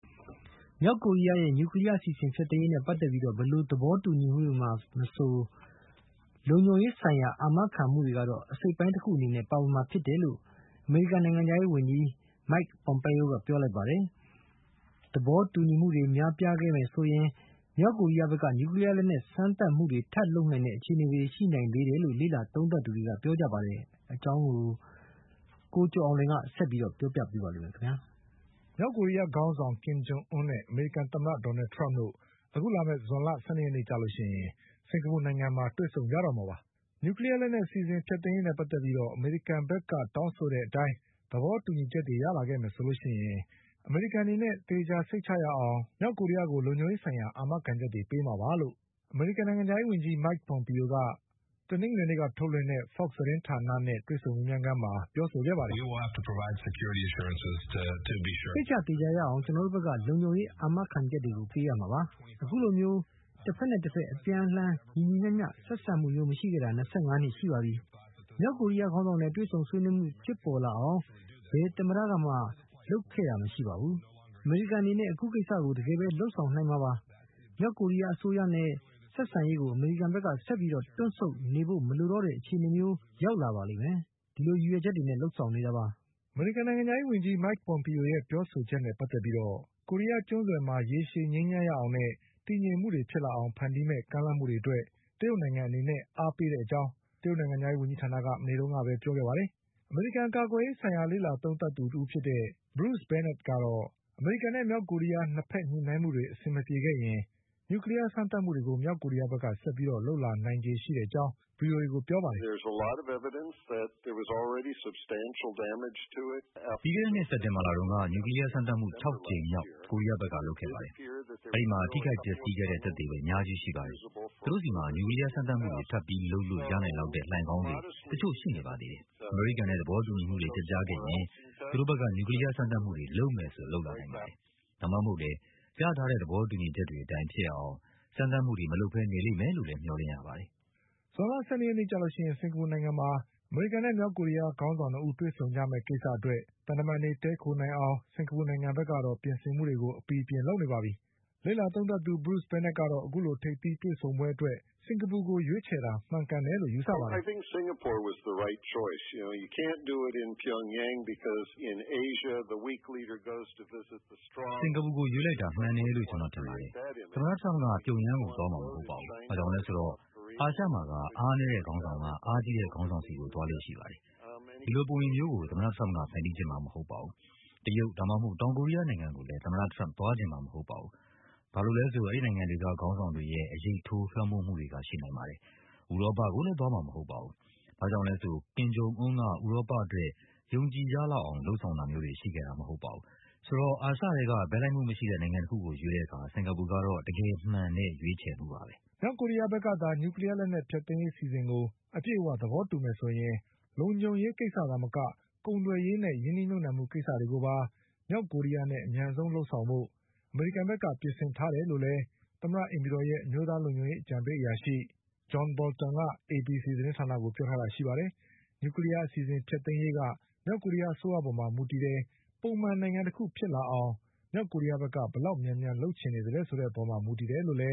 မြောက်ကိုရီးယားရဲ့နျူကလီးယားအစီအစဉ်ဖျက်သိမ်းရေးနဲ့ပတ်သက်ပြီး ဘယ်လိုသဘောတူညီမှုတွေမှာမဆို လုံခြုံရေး ဆိုင်ရာအာမခံမှုတွေကတော့ အစိတ်အပိုင်းတခုအနေနဲ့ပါဝင်နေမှာပဲလို့ အမေရိကန်နိုင်ငံခြားရေးဝန်ကြီး Mike Pompeo ကပြောလိုက်ပါတယ်။ သဘောတူညီမှုတွေပျက်ပြားခဲ့မယ်ဆိုရင် မြောက်ကိုရီးယားဘက်က နျူကလီးယားလက်နက်စမ်း သပ်မှုတွေထပ်လုပ်ဖို့အခြေအနေတွေရှိနိုင်သေးတယ်လို့ လေ့လာသူတွေကသုံးသပ်ကြပါတယ်။ ဒီအကြောင်း ကိုကျော် အောင်လွင်က ဆက်ပြီးပြောပြပါလိမ့်မယ်။ မြောက်ကိုရီးယားခေါင်းဆောင် ကင်ဂျုံအွန်းနဲ့ အမေရိကန်သမ္မတဒေါ်နလ်ထရမ့်တို့ အခုလာမယ့်ဇွန်လ၁၂ရက်နေ့ကျရင် စင်္ကာပူနိုင်ငံမှာတွေ့ဆုံကြတော့မှာပါ။ နျူကလီးယားအစီအစဉ်ဖျက်သိမ်းရေးနဲ့ပတ်သက်ပြီး အမေရိကန်ဘက်ကတောင်း ဆိုတဲ့အတိုင်း သဘောတူညီမှုတွေရလာခဲ့မယ် ဆိုရင် အမေရိကန် အနေနဲ့ သေချာစိတ်ချရအောင်လို့ မြောက်ကိုရီးယား ကို လုံခြုံရေးဆိုင်ရာအာမခံချက်တွေပေးမှာပါ လို့ အမေရိကန်နိုင်ငံခြားရေးဝန်ကြီး Mike Pompeoက တနင်္ဂနွေနေ့က ထုတ်လွှင့်တဲ့ Fox သတင်းဌာနနဲ့ တွေ့ဆုံမေးမြန်းခန်းမှာ ပြောခဲ့ပါတယ်။ "စိတ်ချသေချာရအောင် ကျနော်တို့ဘက်က လုံခြုံရေးအာမခံချက်တွေကိုပေးမှာပါ။ အခုလိုမျိုးတဘက်နဲ့တဘက် အပြန် အလှန် ညီညီမျှမျှဆက်ဆံမှုမျိုးမရှိခဲ့တာ ၂၅နှစ်ရှိခဲ့ပါပြီ။ မြောက်ကိုရီးယားခေါင်းဆောင်နဲ့တွေ့ဆုံဆွေးနွေးမှုဖြစ်ပေါ်လာ အောင် ဘယ်သမ္မတကမှ လုပ်ခဲ့တာမရှိပါဘူး။ အမေရိကန်အနေနဲ့ အခုကိစ္စကို တကယ်ပဲလုပ်ဆောင်နိုင်မှာပါ။ မြောက်ကို ရီးယားအစိုးရနဲ့ဆက်ဆံရေးကို အမေရိကန်ဘက်က ဆက်ပြီးတွန့်ဆုတ်နေဖို့မလိုတော့တဲ့အခြေအနေမျိုး ရောက်လာပါ လိမ့်မယ်။ ဒီလိုရည်ရွယ်ချက်တွေနဲ့လုပ်ဆောင်နေတာပါ။" အမေရိကန်နိုင်ငံခြားရေး ဝန်ကြီး Pompeoရဲ့ပြောဆိုချက်နဲ့ပတ်သက်ပြီး ကိုရီးယားကျွန်းဆွယ်မှာရေရှည် ငြိမ်းချမ်းရေးရ အောင်နဲ့တည်ငြိမ်မှုတွေဖြစ်လာအောင်ဖန်တီးတဲ့မယ့်ကမ်းလှမ်းမှုတွေအတွက် တရုတ်နိုင်ငံအနေနဲ့အားပေးတဲ့အကြောင်း တရုတ်နိုင်ငံခြားရေးဝန်ကြီးဌာနက မနေ့ကပဲပြောပါတယ်။ အမေရိကန်က ကာကွယ်ရေးဆိုင်ရာလေ့လာသုံးသပ်သူ တဦးဖြစ်တဲ့ Bruce Bennettကတော့ အမေရိကန်နဲ့မြောက်ကိုရီးယား၂ဘက်ညှိနှိုင်းမှုတွေ အဆင်မပြေခဲ့ရင် နျူးကလီးယားစမ်းသပ်မှု တွေကို မြောက်ကိုရီးယားဘက်ကဆက်ပြီးလုပ်လာနိုင်ချေရှိတဲ့အကြောင်း ဗွီအိုအေကိုပြောပါတယ်။ "ပြီးခဲ့တဲ့နှစ် စက်တင်ဘာလတုန်းက နျူကလီးယားစမ်းသပ်မှု၆ကြိမ်မြောက်ကိုရီးယားဘက်က လုပ်ခဲ့ပါတယ်။ အဲဒီမှာ ထိခိုက်ပျက်စီးမှုတွေရှိခဲ့တဲ့ သက်သေတွေအများကြီးရှိပါတယ်။ သူတို့ဆီမှာ နျူကလီးယားစမ်းသပ်မှုတွေထပ်ပြီးလုပ်လို့ ရနိုင်လောက်တဲ့ လှိုင်ခေါင်းတွေတချို့ရှိနေပါသေးတယ်။ အမေရိကန်နဲ့သဘောတူညီမှုတွေ ပျက်ပြားခဲ့ရင်သူတို့ဘက်က နျူကလီးယားစမ်းသပ်မှုတွေလုပ်မယ်ဆို လုပ်လာနိုင်ပါတယ်။ ဒါမှမဟုတ်လည်း ရထားတဲ့သဘောတူညီချက်တွေအတိုင်း ဖြစ်ရအောင် စမ်းသပ်မှုတွေမလုပ်ပဲနေလိမ့်မယ်လို့လည်း မျှော်လင့်ရပါတယ်။" ဇွန်လ ၁၂ရက်နေ့ကြရင် စင်္ကာပူနိုင်ငံမှာ အမေရိကန်နဲ့မြောက်ကိုရီးယားခေါင်းဆောင်၂ဦးတွေ့ဆုံကြမယ့်ကိစ္စအတွက် သံတမန်တွေတည်းခိုနိုင်အောင် စင်္ကာပူနိုင်ငံကတော့ ပြင်ဆင်မှုတွေကို အပီအပြင်လုပ်နေပါပြီ။ လေ့လာသုံးသပ်သူ Bruce Bennettကတော့ အခုလိုထိပ်သီးတွေ့ဆုံပွဲအတွက် စင်္ကာပူကိုရွေးတာ မှန်တယ်လို့ယူဆပါတယ်။ "စင်္ကာပူကိုရွေးလိုက်တာ မှန်တယ်လို့ ကျနော်ထင်ပါတယ်။ သမ္မတထရမ့်က ပြုံယန်းကိုသွားမှာမဟုတ်ပါဘူး။ဘာကြောင့်လဲဆိုတော့ အာရှမှာက အားနည်းတဲ့ခေါင်းဆောင်က အားကြီးတဲ့ခေါင်းဆောင်ဆီကိုသွားလေ့ရှိပါတယ်။ ဒီလိုပုံရိပ်မျိုးကို သမ္မတထရမ့် ကဖန်တီးချင်မှာမဟုတ်ပါဘူး။ တရုတ်ဒါမှမဟုတ် တောင်ကိုရီးယားနိုင်ငံကိုလည်း သမ္မတထရမ့်က သွားချင်မှာမဟုတ်ပါ ဘူး။ ဘာကြောင့်လဲဆိုတော့ အဲဒီနိုင်ငံတွေက ခေါင်းဆောင်တွေရဲ့အရိပ်ထိုးလွှမ်းမိုးမှုတွေကရှိနိုင်ပါတယ်။ ဥရောပကို လည်း သွားမှာမဟုတ်ပါဘူး။ ဘာကြောင့်လဲဆိုတော့ ကင်ဂျုံအွန်းက ဥရောပအတွက်ယုံကြည်ရလောက်အောင်လုပ် ဆောင်တာမျိုးတွေရှိခဲ့တာ မဟုတ်ပါဘူး။ ဆိုတော့ အာရှထဲက ဘက်လိုက်မှုမရှိတဲ့နိုင်ငံတခုကိုရွေးတဲ့အခါ စင်္ကာပူက တော့ တကယ်မှန်တဲ့ရွေးချယ်မှုပါပဲ။" မြောက်ကိုရီးယားဘက်ကသာ နျူကလီးယားလက်နက်ဖျက်သိမ်းရေးအစီအစဉ်ကို အပြည့်အဝသဘောတူမယ်ဆိုရင် လုံခြုံရေးကိစ္စသာမက ကုန်သွယ်ရေးနဲ့ရင်းနှီးမြုပ်နှံမှုကိစ္စတွေကိုပါ မြောက်ကိုရီးယားနဲ့အမြန်ဆုံးလုပ်ဆောင်ဖို့ အမေရိ ကန်ဘက်ကပြင်ဆင်ထားတယ်လို့လည်း အိမ်ဖြူတော်ရဲ့အမျိုးသားလုံခြုံရေးအကြံပေးအရာရှိ John Boltonက ABC သတင်း ဌာနကို ပြောထားတာရှိပါတယ်။ နျူကလီးယားအစီအစဉ်ဖျက်သိမ်းရေးက မြောက်ကိုရီးယားအစိုးရပေါ်မှာမူ တည်တယ်၊ ပုံမှန်နိုင်ငံတခုဖြစ်လာအောင်မြောက်ကိုရီးယားဘက်က ဘယ်လောက်မြန်မြန်လုပ်ချင်သလဲဆိုတဲ့ အပေါ်မှာ မူတည်တယ်လို့လ